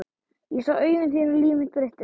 Ég sá augu þín og líf mitt breyttist.